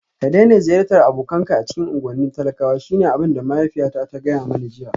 Ka daina ziyartar abokanka a cikin unguwannin talakwa shine abin da mahaifiyata ta gaya mani jiya